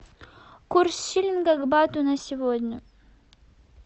курс шиллинга к бату на сегодня